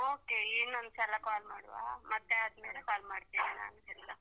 Okay ಇನ್ನೊಂದ್ಸಲ call ಮಾಡುವ ಮತ್ತೆ ಆದ್ಮೇಲೆ call ಮಾಡ್ತೇನೆ ನಾನು ಎಲ್ಲಾ.